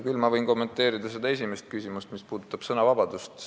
Küll võin kommenteerida seda esimest küsimust, mis puudutab sõnavabadust.